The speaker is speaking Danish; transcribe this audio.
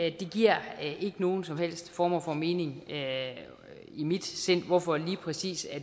ikke giver nogen som helst form for mening i mit sind hvorfor lige præcis